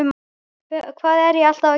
Hvað er ég alltaf að gera?